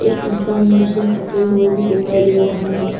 एक इंसान मशीन पकड़े हुए भी दिखाई दे रहा है।